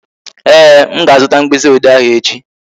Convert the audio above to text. Ee, m ga-azuta mkpịsị ode ahụ echi